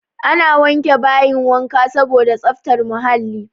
Ana wanke bayin wanka saboda tsaftar muhalli.